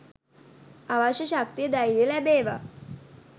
අවශ්‍ය ශක්තිය ධෛර්‍යය ලැබේවා